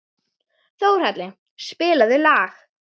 Þórhalli, spilaðu lag.